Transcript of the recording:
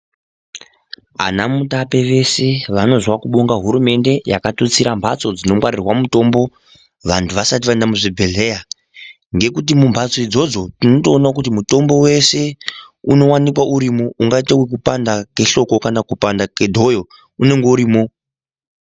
Ana mutape vese vanozwa kubonga hurumende yaka tusira mhatso dzino ngwarirwa mutombo vantu vasati vaenda mu zvibhedhleya ngekuti mu mbatso idzodzo tinoto ona kuti mutombo wese uno wanikwa urimo ungaite kupanda kwe hloko kana kupanda ke dhoyo unenge urimo.